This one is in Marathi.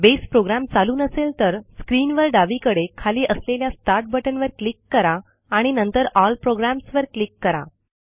बेस प्रोग्रॅम चालू नसेल तर स्क्रीनवर डावीकडे खाली असलेल्या स्टार्ट बटन वर क्लिक करा आणि नंतर एल प्रोग्राम्स वर क्लिक करा